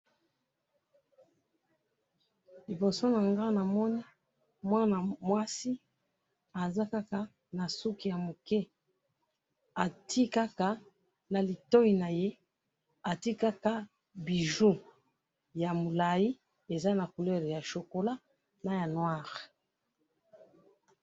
liboso nanga namoni mwana mwasi aza kaka na suki ya muke atiye kaka na litoyi naye atiye kaka bijoux ya mulayi eza na couleur ya chocolat naya noir.